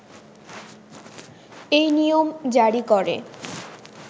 এই নিয়ম জারী করে